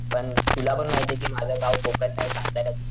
पण तुला पण माहितेय कि माझं गाव कोकण नाही सातारा,